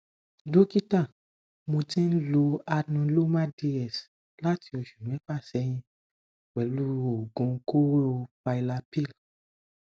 dọkítà mo ti ń lo anuloma ds láti oṣù mẹfà sẹyìn pẹlú oògun kóró pylapy